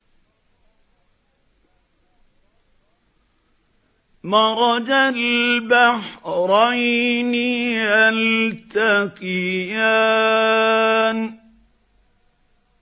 مَرَجَ الْبَحْرَيْنِ يَلْتَقِيَانِ